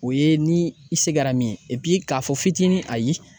O ye ni i se kɛra min ye k'a fɔ fitinin ayi.